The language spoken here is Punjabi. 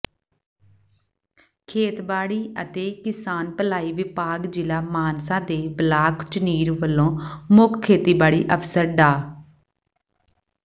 ਖੇਤਬਾੜੀ ਅਤੇ ਕਿਸਾਨ ਭਲਾਈ ਵਿਭਾਗ ਜ਼ਿਲ੍ਹਾ ਮਾਨਸਾ ਦੇ ਬਲਾਕ ਝੁਨੀਰ ਵੱਲੋਂ ਮੁੱਖ ਖੇਤੀਬਾੜੀ ਅਫ਼ਸਰ ਡਾ